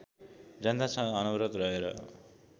जनतासँग अनवरत रहेर